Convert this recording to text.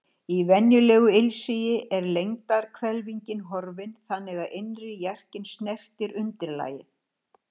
Í venjulegu ilsigi er lengdarhvelfingin horfin þannig að innri jarkinn snertir undirlagið.